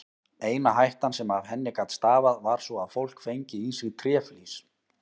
Eina hættan sem af henni gat stafað var sú að fólk fengi í sig tréflís.